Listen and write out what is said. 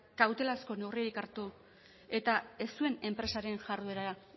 kautelazko neurririk hartu eta ez zuen enpresaren jarduera